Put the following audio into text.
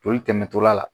Joli tɛmɛtɔla la